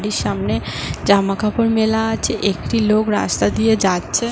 এটির সামনে জামা কাপড় মেলাআছে একটি লোক রাস্তা দিয়ে যাচ্ছে ।